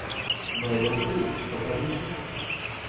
мэрил стрип покажи список